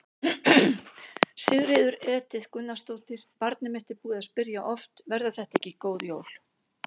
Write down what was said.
Sigríður Edith Gunnarsdóttir: Barnið mitt er búið að spyrja oft: Verða þetta ekki góð jól?